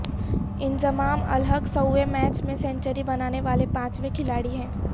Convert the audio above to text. انضمام الحق سوویں میچ میں سنچری بنانے والے پانچویں کھلاڑی ہیں